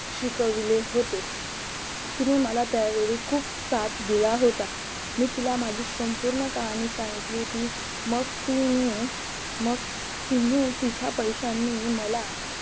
शिकवले होते तिने मला त्यावेळी खूप साथ दिला होता मी तिला माझी संपूर्ण कहाणी सांगितली होती मग तिनी मग मग तिने तिच्या पैशाने मला